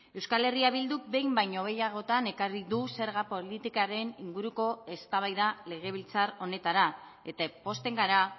euskal herria bilduk behin baino gehiagotan ekarri du zerga politikaren inguruko eztabaida legebiltzar honetara eta pozten gara